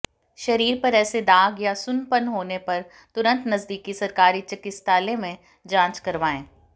शरीर पर ऐसे दाग या सुन्नपन होने पर तुरंत नजदीकी सरकारी चिकित्सालय में जांच करवाएं